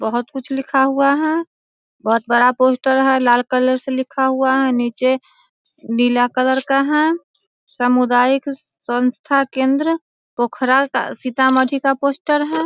बहुत कुछ लिखा हुआ है। बहुत बड़ा पोस्टर है लाल कलर से लिखा हुआ है नीचे नीला कलर का है‌। समुदायक संस्था केंद्र पोखरा का सीता माँ जी का पोस्टर है।